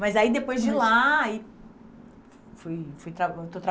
Mas aí, depois de lá, e fui fui traba estou